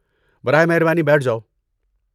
براہ مہربانی بیٹھ جاؤ۔